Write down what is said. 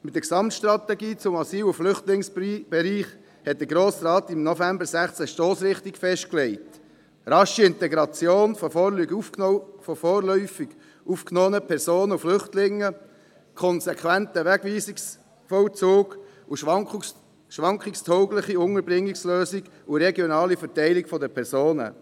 Mit der Gesamtstrategie zum Asyl- und Flüchtlingsbereich hat der Grosse Rat im November 2016 die Stossrichtung festgelegt: rasche Integration von vorläufig aufgenommenen Personen und Flüchtlingen, konsequenter Wegweisungsvollzug, schwankungstaugliche Unterbringungslösungen und regionale Verteilung der Personen.